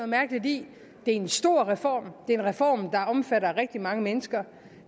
mærkeligt i det er en stor reform det er en reform der omfatter rigtig mange mennesker